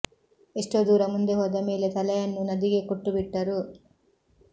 ಎಷ್ಟೋ ದೂರ ಮುಂದೆ ಹೋದ ಮೇಲೆ ತಲೆಯನ್ನೂ ನದಿಗೇ ಕೊಟ್ಟು ಬಿಟ್ಟರು